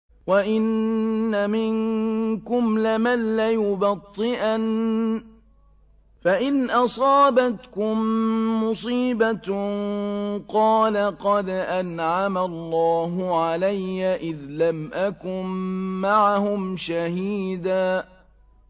وَإِنَّ مِنكُمْ لَمَن لَّيُبَطِّئَنَّ فَإِنْ أَصَابَتْكُم مُّصِيبَةٌ قَالَ قَدْ أَنْعَمَ اللَّهُ عَلَيَّ إِذْ لَمْ أَكُن مَّعَهُمْ شَهِيدًا